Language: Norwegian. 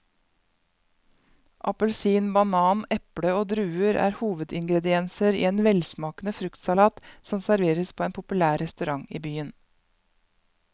Appelsin, banan, eple og druer er hovedingredienser i en velsmakende fruktsalat som serveres på en populær restaurant i byen.